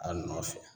A nɔfɛ